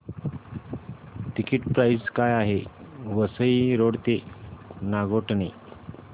ticket price काय आहे Vasai road ते नागोठणे